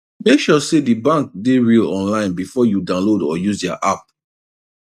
make sure say the bank dey real online before you download or use their app